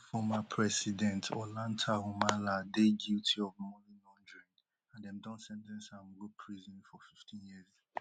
peru former president ollanta humala dey guilty of money laundering and dem don sen ten ce am go prison for fifteen years